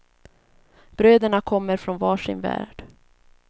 Bröderna kommer från var sin värld.